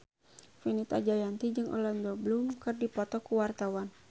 Fenita Jayanti jeung Orlando Bloom keur dipoto ku wartawan